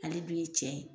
Ale dun ye cɛ ye